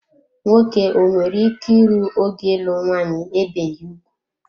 Nwoke o nwere ike ịrụ ogo ịlụ nwanyị ebeghi ugwu?